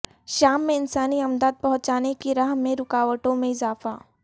شام میں انسانی امداد پہنچانے کی راہ میں رکاوٹوں میں اضافہ